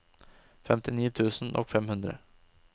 femtini tusen og fem hundre